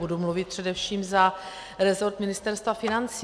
Budu mluvit především za rezort Ministerstva financí.